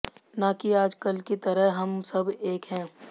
ना कि आज कल की तरह हम सब एक हैं